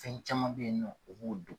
Fɛn caman bɛ yen nɔ u b'o dɔn.